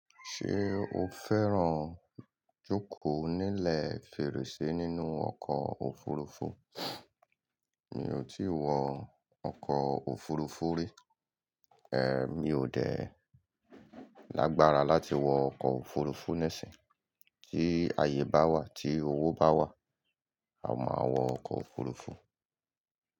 Ṣé o fẹ́ràn jókòó nílẹ̀ fèrèsé nínú ọkọ̀ òfurufú? Mi ò tí wọ ọkọ̀ òfurufú rí. Ẹ mi ò dẹ́ lágbára láti wọ ọkọ̀ òfurufú níìsín. Tí ààyè bá wà, tí owó bá wà, a máa wọ ọkọ̀ òfurufú.